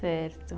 Certo.